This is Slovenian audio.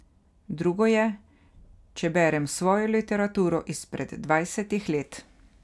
Drugo je, če berem svojo literaturo izpred dvajsetih let.